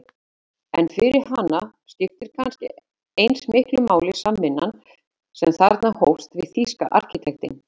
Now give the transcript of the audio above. En fyrir hana skipti kannski eins miklu máli samvinnan sem þarna hófst við þýska arkitektinn